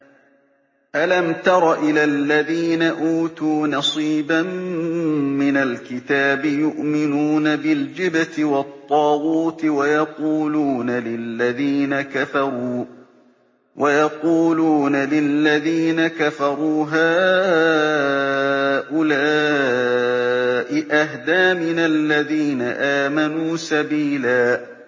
أَلَمْ تَرَ إِلَى الَّذِينَ أُوتُوا نَصِيبًا مِّنَ الْكِتَابِ يُؤْمِنُونَ بِالْجِبْتِ وَالطَّاغُوتِ وَيَقُولُونَ لِلَّذِينَ كَفَرُوا هَٰؤُلَاءِ أَهْدَىٰ مِنَ الَّذِينَ آمَنُوا سَبِيلًا